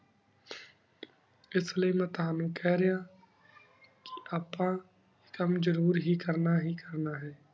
ਇਸਲੀਏ ਮੈਂ ਤੋਹਾਨੂ ਕੇਹ ਰਿਯਾ ਆਪਾਂ ਕਾਮ ਜ਼ਰੂਰ ਹੀ ਕਰਨਾ ਹੀ ਕਰਨਾ ਹੈ